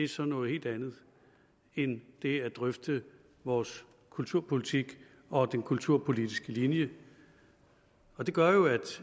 så noget helt andet end det at drøfte vores kulturpolitik og den kulturpolitiske linje det gør jo at